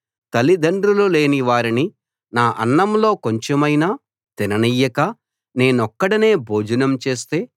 తల్లిదండ్రులు లేని వారిని నా అన్నంలో కొంచెమైనా తిననియ్యక నేనొక్కడినే భోజనం చేస్తే